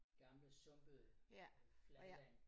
Gamle sumpede fladland